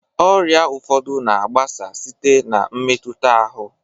Ọrịa ụfọdụ na-agbasa site na mmetu ahụ.